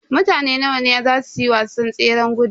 Mutane nawa ne a zasu yi wasan tseran gudun.